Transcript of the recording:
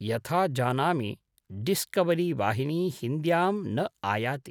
यथा जानामि डिस्कवरीवाहिनी हिन्द्यां न आयाति।